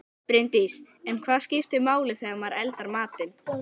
Bryndís: En hvað skiptir máli þegar maður eldar matinn?